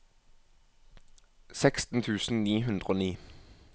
seksten tusen ni hundre og ni